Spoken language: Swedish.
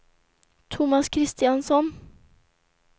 Tomas Kristiansson